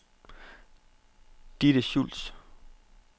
Ditte Schultz